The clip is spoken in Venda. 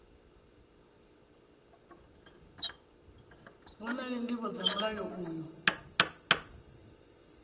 vhonale ndivho dza mulayo uyu